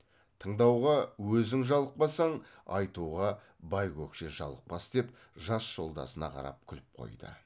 тыңдауға өзің жалықпасаң айтуға байкөкше жалықпас деп жас жолдасына қарап күліп қойды